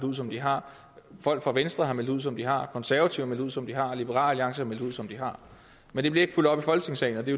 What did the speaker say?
ud som de har folk fra venstre har meldt ud som de har konservative har meldt ud som de har og liberal alliance har meldt ud som de har men det bliver ikke fulgt op i folketingssalen og det